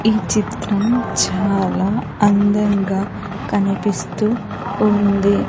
ఈ చిత్రం చాలా అందంగా కనిపిస్తూ ఉంది.